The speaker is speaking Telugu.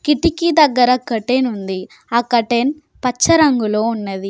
కిటికీ దగ్గర కర్టెన్ ఉంది. ఆ కర్టెన్ పచ్చ రంగులో ఉన్నది.